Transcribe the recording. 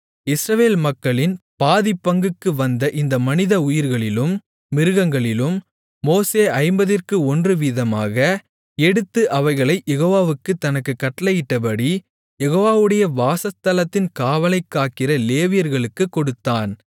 இஸ்ரவேல் மக்களின் பாதிப்பங்குக்கு வந்த இந்த மனிதஉயிர்களிலும் மிருகங்களிலும் மோசே ஐம்பதிற்கு ஒன்று வீதமாக எடுத்து அவைகளைக் யெகோவா தனக்குக் கட்டளையிட்டபடி யெகோவாவுடைய வாசஸ்தலத்தின் காவலைக் காக்கிற லேவியர்களுக்குக் கொடுத்தான்